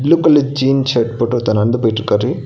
Blue colour jean shirt போட்டு ஒருத்த நடந்து போயிட்ருக்காரு.